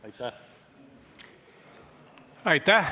Aitäh!